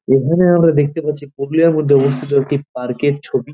এখানে আমরা দেখতে পাচ্ছি একটি পার্কে -এর ছবি।